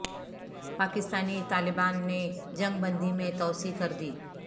پاکستانی طالبان نے جنگ بندی میں توسیع کر دی